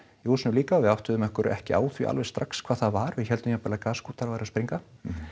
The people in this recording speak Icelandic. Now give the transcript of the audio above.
í húsinu líka við áttuðum ekki á því alveg strax hvað það var við héldum jafnvel að gaskútar væru að springa